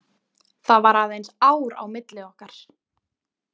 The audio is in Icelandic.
Það var aðeins ár á milli okkar.